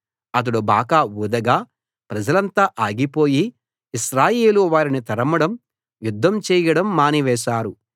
అతడు బాకా ఊదగా ప్రజలంతా ఆగిపోయి ఇశ్రాయేలు వారిని తరమడం యుద్ధం చేయడం మానివేశారు